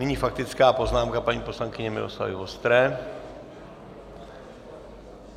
Nyní faktická poznámka paní poslankyně Miloslavy Vostré.